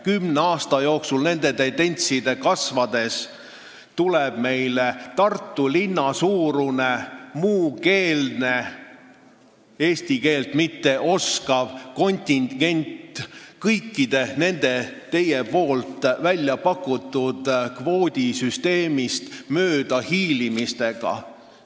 Kümne aasta jooksul tuleb meile Tartu linna suurune muukeelne, eesti keelt mitte oskav kontingent, kui see tendents ja kõik need teie väljapakutud kvoodisüsteemist möödahiilimised jätkuvad.